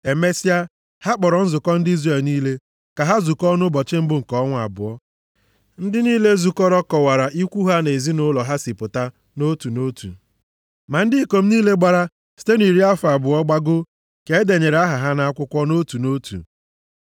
Emesịa, ha kpọrọ nzukọ ndị Izrel niile ka ha zukọọ nʼụbọchị mbụ nke ọnwa abụọ. Ndị niile zukọrọ kọwara ikwu ha na ezinaụlọ ha si pụta nʼotu na otu. Ma ndị ikom niile gbara site nʼiri afọ abụọ gbagoo ka e denyere aha ha nʼakwụkwọ nʼotu na otu,